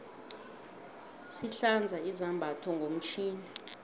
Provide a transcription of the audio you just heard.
sihlanza izambatho ngomtjhini